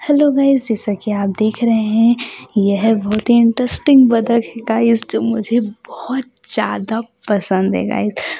hello guys जैसा कि आप देख रहे हैं ये है बहुत ही इंटरेस्टिंग बदक है गाइस जो मुझे बहुत ज्यादा पसंद है गाइज --